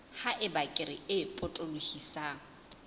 ha eba kere e potolohisang